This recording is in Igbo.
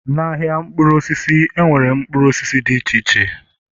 Na-ahịa mkpụrụ osisi, enwere mkpụrụ osisi dị iche iche